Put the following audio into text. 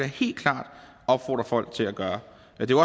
helt klart opfordre folk til at gøre det